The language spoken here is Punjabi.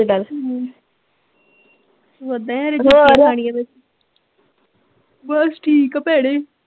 ਬਸ ਠੀਕ ਆ ਭੈਣੇ